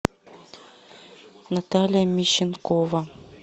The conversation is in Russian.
наталья мищенкова